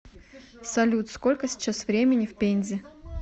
салют сколько сейчас времени в пензе